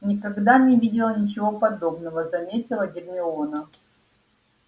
никогда не видела ничего подобного заметила гермиона